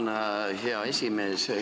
Tänan, hea esimees!